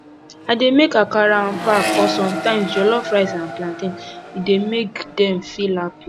i dey make akara and pap or sometimes jollof rice and plantain e dey make dem feel happy